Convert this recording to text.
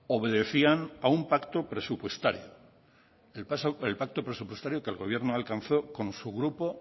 obedecían a un pacto presupuestario el pacto presupuestario que el gobierno ha alcanzado con su grupo